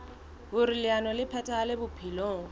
hoer leano le phethahale bophelong